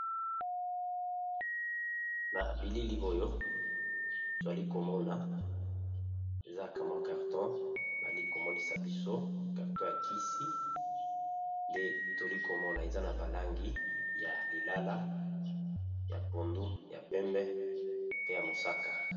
Na bilili oyo toali komona zakamwa karton bali komonisa biso karton ya kisi nde toli komona eza na balangi ya lilala ya pondu ya pembe pe ya mosaka.